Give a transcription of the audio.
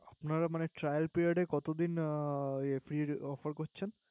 আপনারা মানে Trailo Preiod এ কত দিন Free এর অফার করছেন